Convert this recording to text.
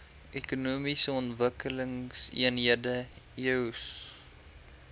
ekonomiese ontwikkelingseenhede eoes